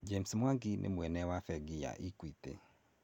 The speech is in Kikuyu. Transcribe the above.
James Mwangi nĩ mwene wa bengi ya Equity.